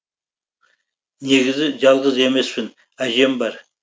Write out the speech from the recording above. негізі жалғыз емеспін әжем бар